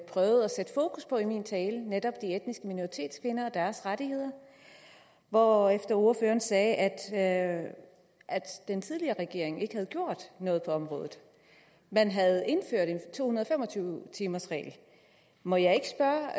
prøvede at sætte fokus på i min tale netop de etniske minoritetskvinder og deres rettigheder og ordføreren sagde at at den tidligere regering ikke havde gjort noget på området man havde indført en to hundrede og fem og tyve timersregel må jeg ikke spørge